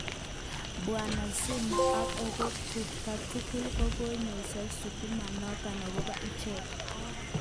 Bwana Zuma ak okot Gupta tugul kokoyesho shutuma noton akobo ichek